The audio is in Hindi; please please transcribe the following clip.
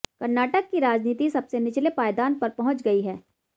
कर्नाटक की राजनीति सबसे निचले पायदान पर पहुंच गई है